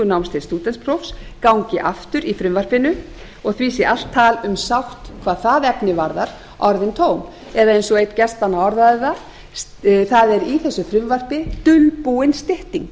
náms til stúdentspróf gangi aftur í frumvarpinu og því sé allt tal um sátt hvað það efni varðar orðin tóm eða eins og einn gestanna orðaði það það er í þessu frumvarpi dulbúin stytting